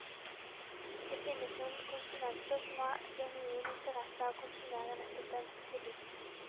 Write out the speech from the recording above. Det finnes noen konsumenter som har genuin interesse av å konsumere nettopp dens produkt.